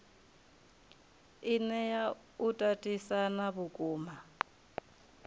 i nea u tatisana vhukuma